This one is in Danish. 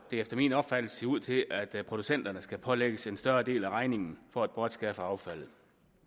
det efter min opfattelse ser ud til at producenterne skal pålægges en større del af regningen for at bortskaffe affaldet